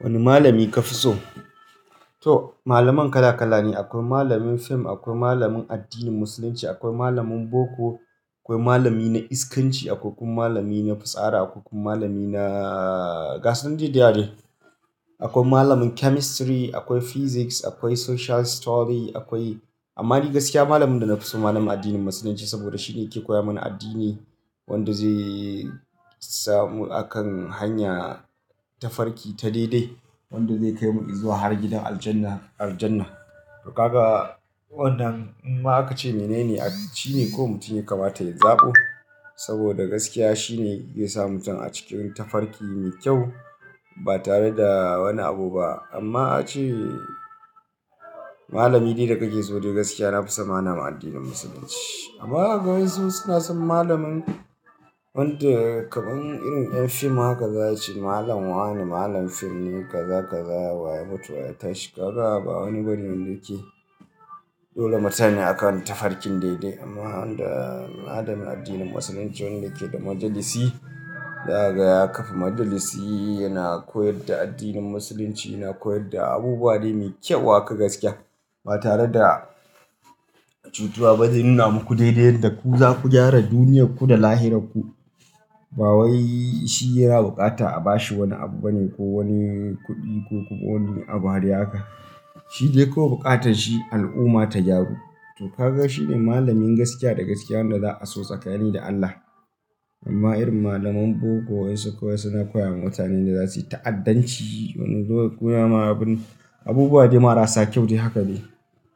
Wani malami ka fi so? To, malaman kala kala ne. Akwai malamin fim, akwai malamin addinin Musulunci, akwai malamin boko, akwai malami na iskanci, akwai kun malami na fitsara, akwai kun malami na gasan dai-dayawa deh. Akwai malamin chemistry, akwai physics, akwai social studies akwai-- amma ni gaskiya malamin da na fi so malamin addinin Musulunci saboda shine yake koya mana addini wanda zai samu a kan hanya ta farki ta daidai. Wanda zai kai mu izuwa har gidan Aljannah, Aljannah. To kaga wannan ima aka ce mene ne? Addini ko mutum ya kamata ya zaɓo. Saboda gaskiya shine zai sa mutum a cikin ta farki mai kyau ba tare da wani abu ba. Amma ace malami dai da kake so dai gaskiya na fi so malamin addinin Musulunci. Amma wasu suna son malamin wanda kaman irin ɗan fim haka za ci, malam wa ne, malam fim ne, kaza kaza waye mutu waya tashi. Kaga ba wani burge ni yake. Dole mutane akan ta farkin daidai. Amma wanda malamin addinin Musulunci wanda yake da majalisi. Za'aga ya kafa majalisi, yana koyar da addinin Musulunci, yana koyar da abubuwa dai mai kyau haka gaskiya ba tare da cutuwa ba. Zai nuna muku daidai yadda ku za ku gyara duniyarku da lahira ku. Ba wai shi yana bukata a bashi wani abu bane ko wani kuɗi ko kuma wani abu har ya haka. Shi dai ko bukatanshi al'umma ta gyaru. To ka ga shi ne malamin gaskiya da gaskiya wanda za a so tsakani da Allah. Amma irin malaman boko waɗansu kawai suna koya wa mutanen da za su yi ta'addanci. Wani lokacin suna yin abubuwa dai mara sa kyau dai haka ne.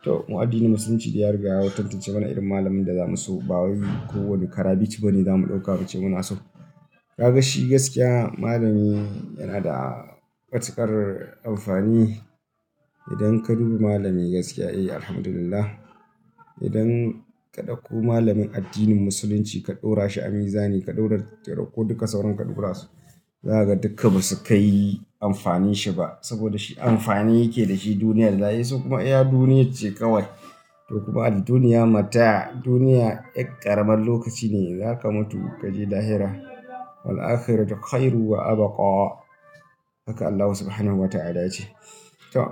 To, mu addinin Musulunci dai ya riga ya tantance mana irin malamin da zamu so ba wai ko wani karabici bane zamu ɗauka mu ce muna so. Ka ga shi gaskiya malami yana da matuƙar amfani. Idan ka duba malami gaskiya, eh, Alhamdulillah. Idan ka ɗauko malamin addinin Musulunci ka ɗora shi a mizani ka ɗaurar, ka ɗauko duka sauran ka ɗora su, daga dukka ba su kai amfanin shi ba. Saboda shi amfani yake da shi duniya da lahira. Sai kuma iya duniyyar ce kawai. To kuma al-duniya mata'a duniya ƙaramar lokaci ne. Zaka mutu kaje lahira. Wal akhiratu khairu wa abwa. Haka Allah Subhanahu wa ta'ala ya ce. To,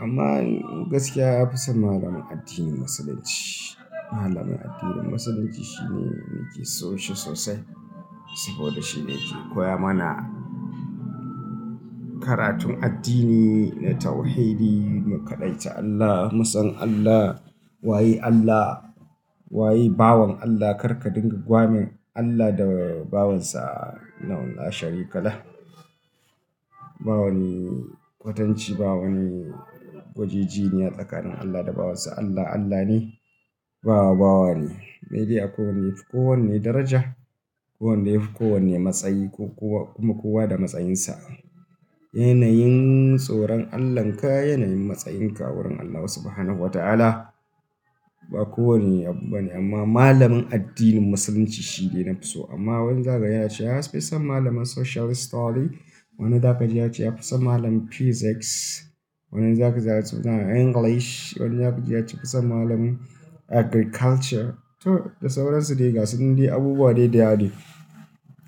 amma gaskiya na fi son malamin addinin Musulunci. Malamin addinin Musulunci shine nake so shi sosai saboda shi ne yake koya mana karatun addini na tauhidi, mu kafaɗai ta Allah, mu san Allah. Waye Allah? Waye bawon Allah? Kar ka dinga gwamin Allah da bawansa Innahu la sharika lah. Ba wani kwatanci, ba wani gwaji ji ne a tsakanin Allah da bawansa. Allah Allah ne, bawa bawa ne. Sai dai akwai ko wanne yafi daraja. Ko wanda yafi kowanne matsayi ko kuwa kuma kowa da matsayinsa. Yanayin soran Allahn ka, yanayin matsayin ka wurin Allah subhanahu wa ta'ala. Ba kowane abu bane amma malamin addinin Musulunci shine na fi so. Amma wani zai gaji ya ce ya fi son malamin social studies. Wani zaka ji ya ce ya fi son malamin physics. Wani zaka ji ya ce English. Wani zaka ji ya ce ya fi son malamin agriculture. To, da sauran su dai gasan dai abubuwa dai deyawa de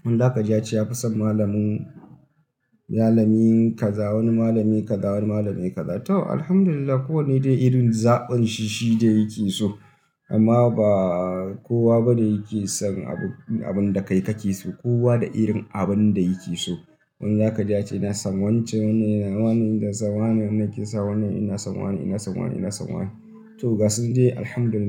Wani zakaji yace ya fi son malamin, malamin kaza, wani malami kaza, wani malami kaza. To, Alhamdulillah ko wane dai irin zaɓanshi shi dai yake so. Amma ba kowa bane yake son abun, abun da kai ka ke so. Kowa da irin abin da yake so. Wani zaka ji ya ce ina son wance, wani yana, wani yana son wani, wani yake son wani, ina son wani, ina son wani, ina son wani. To gasun dai Alhamdulillah.